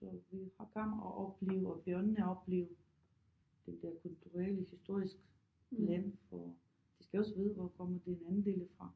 Så vi har komme at opleve børnene opleve der kulturelle historisk land for de skal også vide hvor kommer den anden dele fra